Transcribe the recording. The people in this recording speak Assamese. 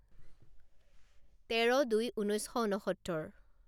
তেৰ দুই ঊনৈছ শ ঊনসত্তৰ